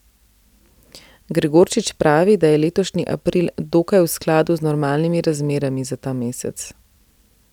Gregorčič pravi, da je letošnji april dokaj v skladu z normalnimi razmerami za ta mesec.